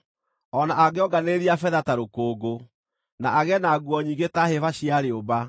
O na angĩonganĩrĩria betha ta rũkũngũ, na agĩe na nguo nyingĩ ta hĩba cia rĩũmba,